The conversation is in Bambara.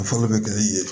Fɔli bɛ kɛ i ye